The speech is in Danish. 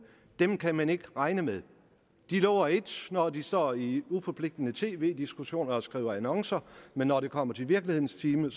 dem kan man ikke regne med de lover et når de står i uforpligtende tv diskussioner og skriver annoncer men når det kommer til virkelighedens time